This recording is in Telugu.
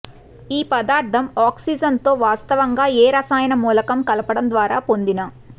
ఈ పదార్ధం ఆక్సిజన్ తో వాస్తవంగా ఏ రసాయన మూలకం కలపడం ద్వారా పొందిన